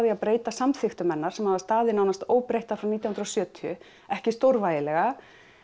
að breyta samþykktum hennar sem hafa staðið nánast óbreyttar frá nítján hundruð og sjötíu ekki stórvægilega